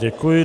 Děkuji.